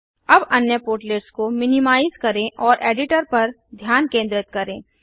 अब अन्य पोर्टलेट्स को मिनिमाइज करें और एडिटर पर ध्यान केंद्रित करें